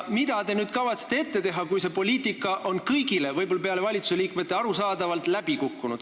Mida te kavatsete ette võtta nüüd, kui see poliitika on kõigile arusaadavalt – välja arvatud võib-olla valitsusliikmed – läbi kukkunud?